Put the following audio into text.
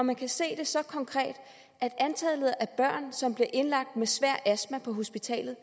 man kan se det så konkret at antallet af børn som blev indlagt med svær astma på hospitalerne